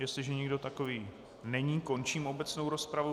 Jestliže nikdo takový není, končím obecnou rozpravu.